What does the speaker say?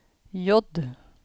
J